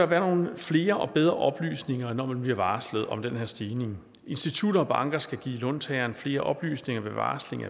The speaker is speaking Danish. være nogle flere og bedre oplysninger når man bliver varslet om den her stigning institutter og banker skal give låntageren flere oplysninger ved varsling